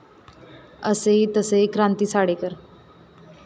असेही तसेही क्रांती साडेकर